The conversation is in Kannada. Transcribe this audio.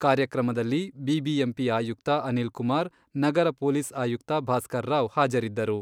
ಕಾರ್ಯಕ್ರಮದಲ್ಲಿ ಬಿಬಿಎಂಪಿ ಆಯುಕ್ತ ಅನಿಲ್ ಕುಮಾರ್, ನಗರ ಪೊಲೀಸ್ ಆಯುಕ್ತ ಭಾಸ್ಕರ್ರಾವ್ ಹಾಜರಿದ್ದರು.